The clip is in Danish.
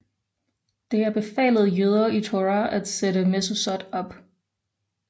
Det er befalet jøder i Torah at sætte mezuzot op